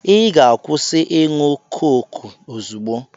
Ị ga-akwụsị ịṅụ koku ozugbo!